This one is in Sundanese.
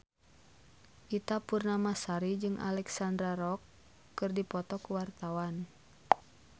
Ita Purnamasari jeung Alexandra Roach keur dipoto ku wartawan